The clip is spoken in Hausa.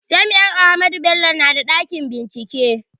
Jami'ar Ahmadu Bello na da ɗakin bincike